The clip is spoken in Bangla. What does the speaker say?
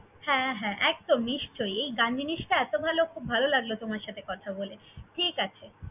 হ্যাঁ! হ্যাঁ! একদম নিশ্চই, এই গান জিনিসটা এতো ভালো, খুব ভালো লাগলো তোমার সাথে কথা বলে, ঠিকআছে।